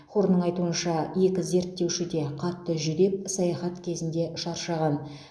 хорнның айтуынша екі зерттеуші де қатты жүдеп саяхат кезінде шаршаған